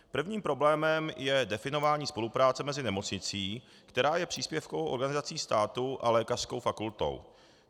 Prvním problémem je definování spolupráce mezi nemocnicí, která je příspěvkovou organizací státu, a lékařskou fakultou.